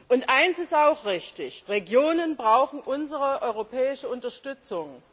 Und eins ist auch richtig Regionen brauchen unsere europäische Unterstützung.